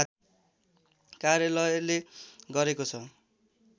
कार्यालयले गरेको छ